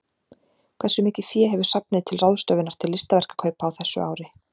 Hversu mikið fé hefur safnið til ráðstöfunar til listaverkakaupa á þessu ári?